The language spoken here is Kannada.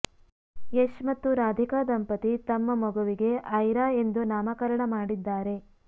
ಯಶ್ ಮತ್ತು ರಾಧಿಕಾ ದಂಪತಿ ತಮ್ಮ ಮಗುವಿಗೆ ಅಯ್ರಾ ಎಂದು ನಾಮಕರಣ ಮಾಡಿದ್ದಾರೆ